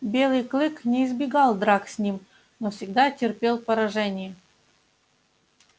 белый клык не избегал драк с ним но всегда терпел поражение